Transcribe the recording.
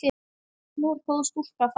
Nú er góð stúlka farin.